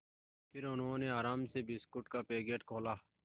फिर उन्होंने आराम से बिस्कुट का पैकेट खोला